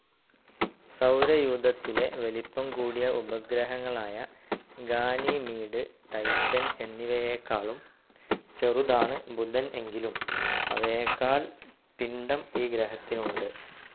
സൗരയൂഥത്തിലെ വലിപ്പം കൂടിയ ഉപഗ്രഹങ്ങളായ ഗാനിമീഡ്, ടൈറ്റൻ എന്നിവയേക്കാളും ചെറുതാണ്‌ ബുധൻ, എങ്കിലും അവയേക്കാൾ പിണ്ഡം ഈ ഗ്രഹത്തിനുണ്ട്.